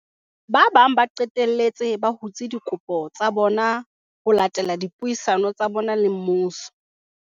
Ba bang ba qetelletse ba hutse dikopo tsa bona ho latela dipuisano tsa bona le mmuso.